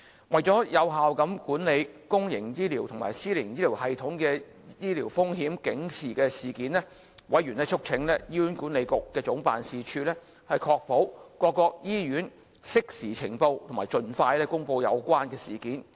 為了有效管理公營及私營醫療系統的醫療風險警示事件，委員促請醫院管理局總辦事處，確保各醫院適時呈報及盡快公布有關事件。